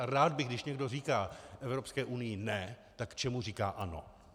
A rád bych, když někdo říká Evropské unii ne - tak čemu říká ano?